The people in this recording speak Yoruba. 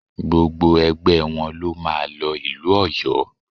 Gbogbo ẹgbẹ wọn ló máa lọ ìlú Ọ̀yó